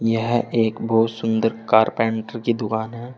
यह एक बहुत सुंदर कारपेंटर की दुकान है।